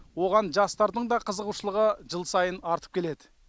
оған жастардың да қызығушылығы жыл сайын артып келеді